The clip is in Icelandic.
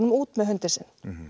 út með hundinn sinn